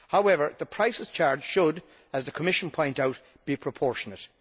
However, the prices charged should, as the Commission points out, be proportionate.